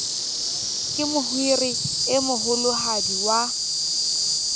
ke mohiri e moholohadi wa